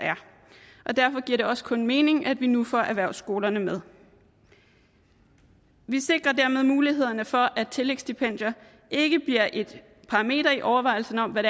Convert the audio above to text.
derfor giver det også kun god mening at vi nu får erhvervsskolerne med vi sikrer dermed mulighederne for at et tillægsstipendium ikke bliver et parameter i overvejelsen af hvad